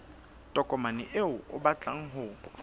tokomane eo o batlang ho